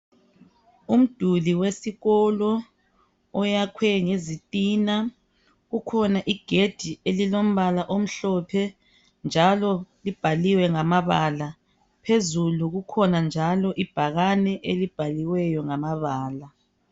Umduli wesikolo. Oyakhwe ngezitina. Kukhona igedi elilombala omhlophe. Njalo libhaliwe ngamabala. Phezulu likhona njalo ibhakane elibhaliweyo ngamabala.